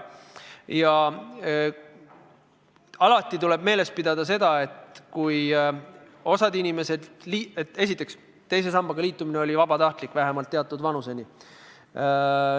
Alati tuleb meeles pidada seda, esiteks, et teise sambaga liitumine oli vabatahtlik, vähemalt teatud vanuseni.